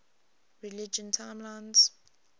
religion timelines